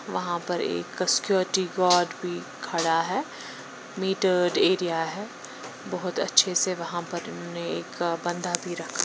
वहां पर एक सिक्योटी गार्ड भी खड़ा है मीटर्ड एरिया है बहुत अच्छे से वहां पर उन्होंने एक बंधा भी रख --